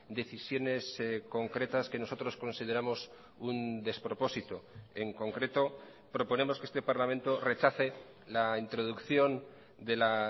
decisiones concretas que nosotros consideramos un despropósito en concreto proponemos que este parlamento rechace la introducción de la